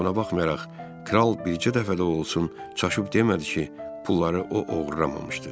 Amma buna baxmayaraq, Kral bircə dəfə də olsun çaşıb demədi ki, pulları o oğurlamamışdı.